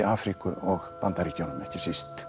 Afríku og Bandaríkjunum ekki síst